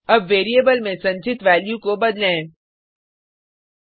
अब वेरिएबल में संचित वैल्यू को बदलें